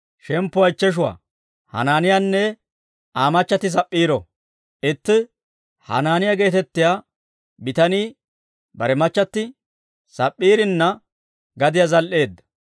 Itti Hanaaniyaa geetettiyaa bitanii bare machchatti Sap'p'iirinna gadiyaa zal"eedda.